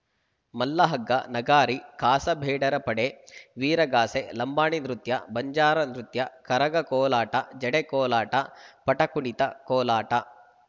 ಮಲ್ಲಹಗ್ಗ ನಗಾರಿ ಖಾಸಾ ಬೇಡರ ಪಡೆ ವೀರಗಾಸೆ ಲಂಬಾಣಿ ನೃತ್ಯ ಬಂಜಾರ ನೃತ್ಯ ಕರಗ ಕೋಲಾಟ ಜಡೆ ಕೋಲಾಟ ಪಟಕುಣಿತ ಕೋಲಾಟ